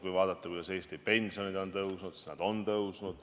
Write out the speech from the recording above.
Kui vaadata, kuidas Eesti pensionid on tõusnud, siis nad on tõusnud.